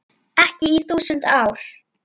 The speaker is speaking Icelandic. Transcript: Ekki í þúsund ár.